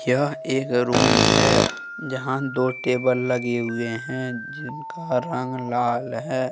यह एक रूम है जहां दो टेबल लगे हुए हैं जिनका रंग लाल है ।